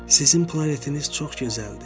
Sizin planetiniz çox gözəldir.